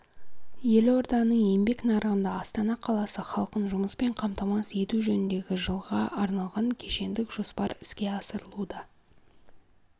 елорданың еңбек нарығында астана қаласы халқын жұмыспен қамтамасыз ету жөніндегі жылға арналған кешендік жоспар іске асырылуда